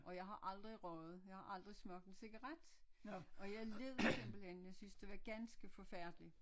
Og jeg har aldrig røget jeg har aldrig smagt en cigaret og jeg led simpelthen jeg synes det var ganske forfærdeligt